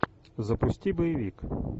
запусти боевик